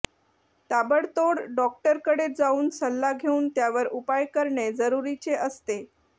ताबडतोब डॉक्टरकडे जाऊन सल्ला घेऊन त्यावर उपाय करणे जरुरीचे असते